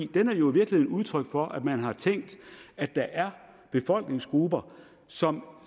den er jo i virkeligheden udtryk for at man har tænkt at der er befolkningsgrupper som